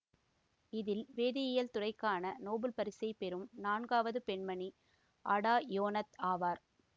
இதில் வேதியியல் துறைக்கான நோபல் பரிசை பெறும் நான்காவது பெண்மணி அடா யோனாத் ஆவார்